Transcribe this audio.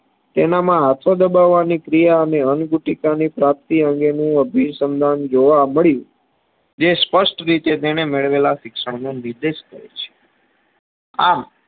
તેનામાં હાથો દબાવવાની ક્રિયા અને અંગુટિકા ની પ્રાપ્તિ અંગેની અભી સન્દન જોવા મળ્યું જે સ્પષ્ટ રીતે તેને મેળવેલા શિક્ષણનો નિર્દેશ કરે છે. આમ